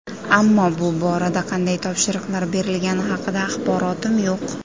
Ammo bu borada qanday topshiriqlar berilgani haqida axborotim yo‘q”.